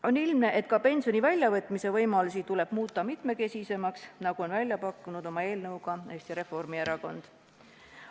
On ilmne, et ka pensioni väljavõtmise võimalusi tuleb muuta mitmekesisemaks, nagu on pakkunud oma eelnõuga Eesti Reformierakond.